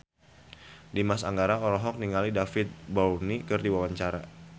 Dimas Anggara olohok ningali David Bowie keur diwawancara